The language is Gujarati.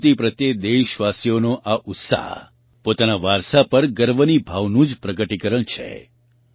સંસ્કૃતિ પ્રત્યે દેશવાસીઓનો આ ઉત્સાહ પોતાના વારસા પર ગર્વની ભાવનું જ પ્રગટીકરણ છે